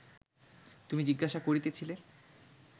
তুমি জিজ্ঞাসা করিতেছিলে